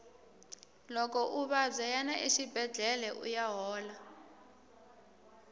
loko u vabya yana exibedlhele uya hola